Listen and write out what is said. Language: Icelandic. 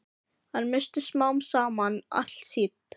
Hann missti smám saman allt sitt.